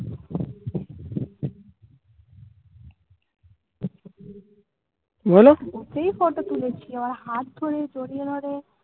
বলো গুতেই ফটো তুলেছি. আমার হাত ধরে জড়িয়ে ধরে